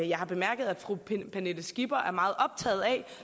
jeg har bemærket at fru pernille skipper er meget optaget af